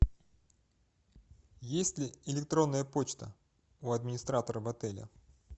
есть ли электронная почта у администратора в отеле